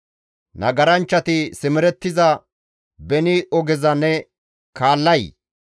«Nagaranchchati simerettiza beni ogeza ne kaallay?